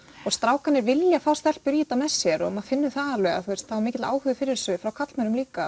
strákarnir vilja fá stelpur í þetta með sér maður finnur það alveg að það er mikill áhugi fyrir þessu frá karlmönnum líka